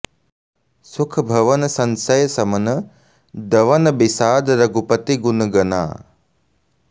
सुख भवन संसय समन दवन बिषाद रघुपति गुन गना